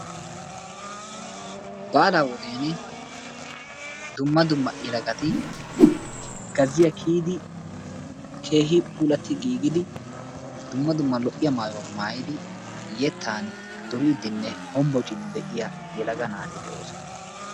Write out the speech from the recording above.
Baalaa wodiyan dumma dumma yelagat gazziya kiyidi keehi puullatti giigidi dumma dumma lo''iya mayuwa maayidi yeettaan duuridinne hombbocciidi de'iyaa yelaga naati de'oosona.